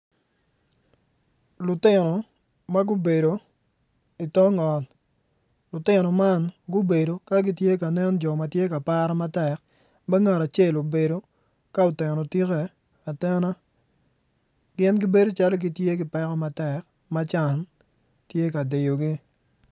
Lutino ma gubedo i tok ot gubedo ka gitye ka nen jo ma gitye ka para matek ma ngat acel obedo ka oteno tike atena.